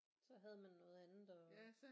Så havde man noget andet at